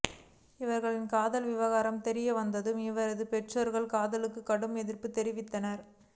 இவர்களின் காதல் விவகாரம் தெரியவந்ததும் இருவரது பெற்றோர்களும் காதலுக்கு கடும் எதிர்ப்பு தெரிவித்தனர்